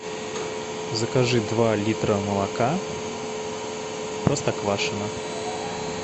закажи два литра молока простоквашино